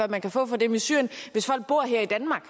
man kan få for dem i syrien hvis folk bor her i danmark